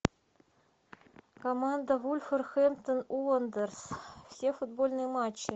команда вулверхэмптон уондерерс все футбольные матчи